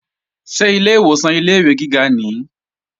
Ṣé ilé ìwòsàn ilé-ìwé gíga nìí?